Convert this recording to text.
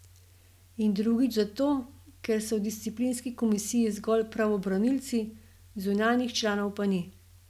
In drugič zato, ker so v disciplinski komisiji zgolj pravobranilci, zunanjih članov pa ni.